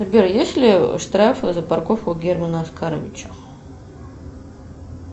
сбер есть ли штрафы за парковку германа оскаровича